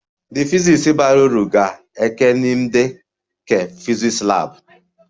The physics bara uru ga-ẹkenịmde ke physics lab